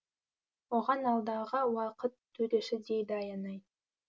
оған алдағы уақыт төреші дейді аянай